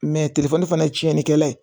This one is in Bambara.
fana ye tiɲɛnikɛla ye